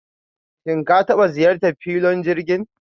shim ka taba ziyartan filon jirgin?